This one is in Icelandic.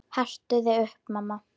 Hertu þig upp, mamma.